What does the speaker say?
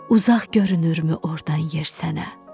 uzaq görünürmü ordan yer sənə?